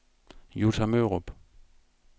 Jutta Mørup